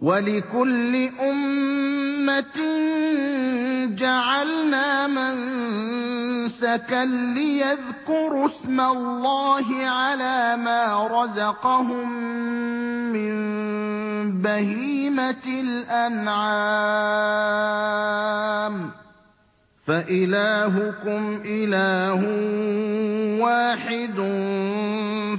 وَلِكُلِّ أُمَّةٍ جَعَلْنَا مَنسَكًا لِّيَذْكُرُوا اسْمَ اللَّهِ عَلَىٰ مَا رَزَقَهُم مِّن بَهِيمَةِ الْأَنْعَامِ ۗ فَإِلَٰهُكُمْ إِلَٰهٌ وَاحِدٌ